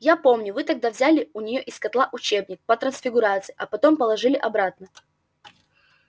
я помню вы тогда взяли у неё из котла учебник по трансфигурации а потом положили обратно